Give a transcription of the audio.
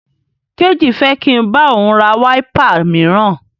Kéjì fẹ́ kí n bá òun ra wáípà míràn.